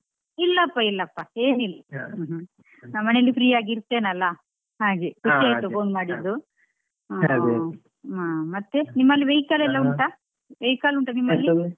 ಇಲ್ಲಪ್ಪಇಲ್ಲಪ್ಪ ಏನಿಲ್ಲ ನಾನ್ ಮನೇಲಿ free ಆಗಿ ಇರ್ತೇನಲ್ಲ ಹಾಗೆ ಆಯ್ತು phone ಮಾಡಿದ್ದು. ಹ್ಮ್ ಮತ್ತೆ ನಿಮ್ಮಲ್ಲಿ vehicle ಎಲಾ ಉಂಟಾ vehicle ಉಂಟಾ ನಿಮ್ಮಲ್ಲಿ.